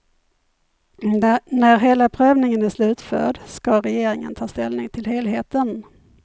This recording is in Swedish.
När hela prövningen är slutförd ska regeringen ta ställning till helheten.